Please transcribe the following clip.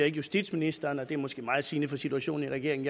ikke justitsministeren og det er måske meget sigende for situationen i regeringen